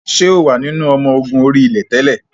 Ṣé o wà nínú ọmọ ogun orí-ilẹ̀ tẹ́lẹ̀?